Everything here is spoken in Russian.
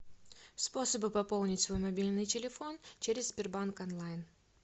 способы пополнить свой мобильный телефон через сбербанк онлайн